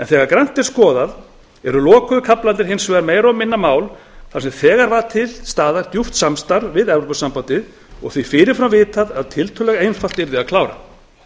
þegar grannt er skoðað eru lokuðu kaflarnir hins vegar meira og minna mál þar sem þegar var til staðar djúpt samstarf við evrópusambandið og því fyrir fram vitað að tiltölulega einfalt yrði að klára